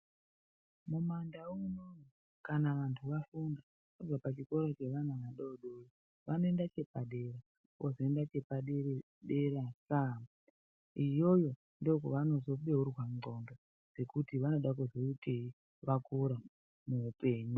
Mumandau munomu kana vanhu vafunda vabva pachikora chevana vadodori vanoenda chepadera. Vozoenda chepadera dera. Iyoyo ndokwevanozobeurwa ndxondo dzekuti vanoda kuzoitei vakura muupenyu.